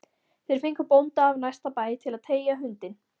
Þeir fengu bónda af næsta bæ til að teygja hundinn